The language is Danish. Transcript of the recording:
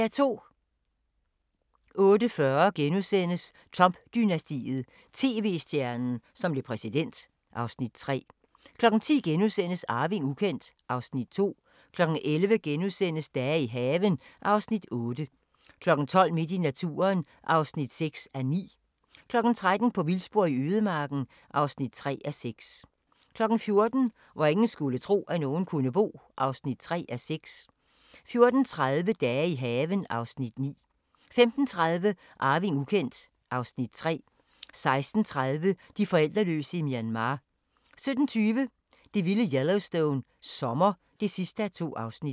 08:40: Trump-dynastiet: TV-stjernen, som blev præsident (Afs. 3)* 10:00: Arving ukendt (Afs. 2)* 11:00: Dage i haven (Afs. 8)* 12:00: Midt i naturen (6:9) 13:00: På vildspor i ødemarken (3:6) 14:00: Hvor ingen skulle tro, at nogen kunne bo (3:6) 14:30: Dage i haven (Afs. 9) 15:30: Arving ukendt (Afs. 3) 16:30: De forældreløse i Myanmar 17:20: Det vilde Yellowstone – sommer (2:2)